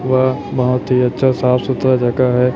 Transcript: वह बहुत ही अच्छा साफ सुथरा जगह है।